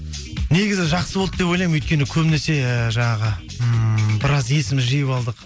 негізі жақсы болды деп ойлаймын өйткені көбінесе жаңағы ммм біраз есімізді жиып алдық